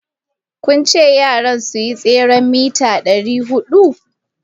Kun ce yaran su yi tseren mita dari hudu?